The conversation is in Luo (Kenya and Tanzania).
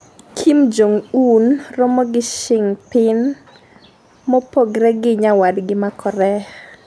kim jong un romo gi Xing pin mopogre gi nyawadgi ma Korea